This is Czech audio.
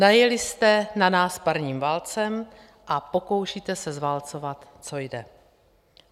Najeli jste na nás parním válcem a pokoušíte se zválcovat, co jde.